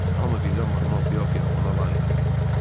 Hamı birdən mahnı oxuya-oxuya ona lağ elədi.